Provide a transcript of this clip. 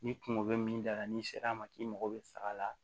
Ni kungo bɛ min da la n'i sera a ma k'i mago bɛ faga la